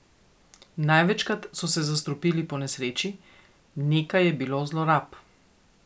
Največkrat so se zastrupili ponesreči, nekaj je bilo zlorab.